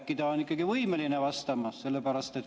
Äkki ta on ikkagi võimeline vastama?